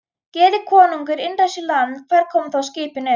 Geri konungur innrás í landið, hvar koma þá skipin upp?